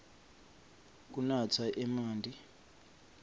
kunatsa emanti